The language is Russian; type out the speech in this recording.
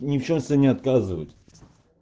ни в чем себе не отказывать